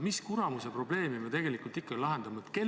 Mis kuramuse probleemi me tegelikult ikkagi lahendame?